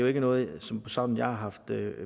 ikke noget jeg som sådan har haft